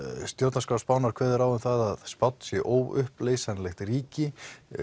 stjórnarskrá Spánar kveður á um að Spánn sé óuppleysanlegt ríki